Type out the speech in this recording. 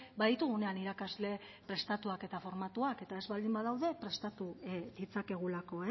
baditugunean irakasle prestatuak eta formatuak eta ez baldin badaude prestatu ditzakegulako